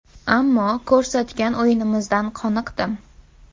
Ammo ko‘rsatgan o‘yinimizdan qoniqdim.